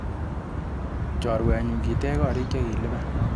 Choruenyu, kitech korik chekilipani?